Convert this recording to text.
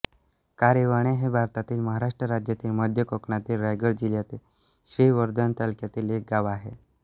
कारिवणे हे भारतातील महाराष्ट्र राज्यातील मध्य कोकणातील रायगड जिल्ह्यातील श्रीवर्धन तालुक्यातील एक गाव आहे